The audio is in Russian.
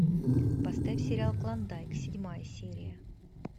поставь сериал клондайк седьмая серия